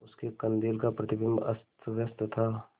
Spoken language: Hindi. उसके कंदील का प्रतिबिंब अस्तव्यस्त था